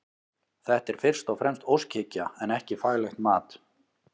Þetta er fyrst og fremst óskhyggja en ekki faglegt mat.